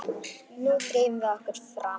Nú drífum við okkur fram!